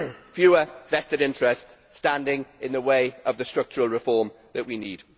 fewer vested interests standing in the way of the structural reform that we need.